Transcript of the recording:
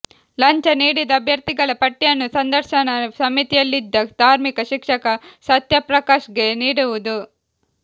ಲಂಚ ನೀಡಿದ ಅಭ್ಯರ್ಥಿಗಳ ಪಟ್ಟಿಯನ್ನು ಸಂದರ್ಶನ ಸಮಿತಿಯಲ್ಲಿದ್ದ ಧಾರ್ಮಿಕ ಶಿಕ್ಷಕ ಸತ್ಯಪ್ರಕಾಶ್ಗೆ ನೀಡುವುದು